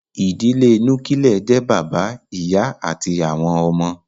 Ìdílé Núkílẹ̀ jẹ́ bàbá, ìyá àti àwọn ọmọ